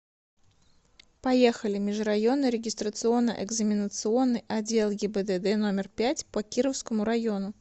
поехали межрайонный регистрационно экзаменационный отдел гибдд номер пять по кировскому району